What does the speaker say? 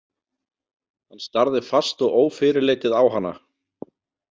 Hann starði fast og ófyrirleitið á hana.